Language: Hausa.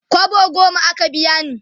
kwabo goma aka biya ni